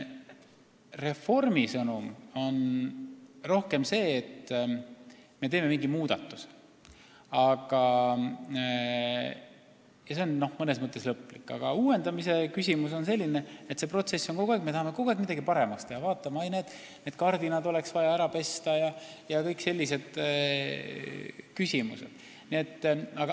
Reformi sõnum on rohkem see, et me teeme mingi muudatuse, mis on mõnes mõttes lõplik, aga uuendamise mõte on selles, et protsess kestab, me tahame kogu aeg midagi paremaks teha – vaatame, et näed, need kardinad oleks vaja ära pesta jms.